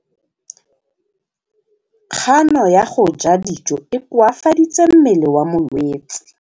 Kganô ya go ja dijo e koafaditse mmele wa molwetse.